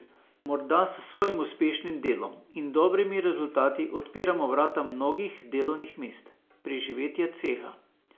Morda s svojim uspešnim delom in dobrimi rezultati odpiramo vrata mnogih delovnih mest, preživetja ceha.